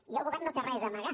i el govern no té res a amagar